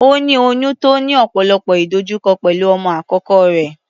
Ó ní oyún tó ní ọ̀pọ̀lọpọ̀ ìdojúkọ pẹ̀lú ọmọ àkọ́kọ́ rẹ̀.